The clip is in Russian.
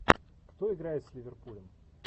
кто играет с ливерпулем